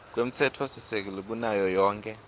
kwemtsetfosisekelo kunayo yonkhe